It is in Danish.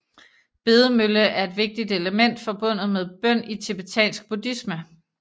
Bedemølle er et vigtigt element forbundet med bøn i tibetansk buddhisme